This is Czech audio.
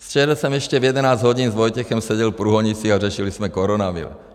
Včera jsem ještě v 11 hodin s Vojtěchem seděl v Průhonicích a řešili jsme koronavir.